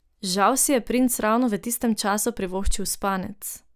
Žal si je princ ravno v tistem času privoščil spanec.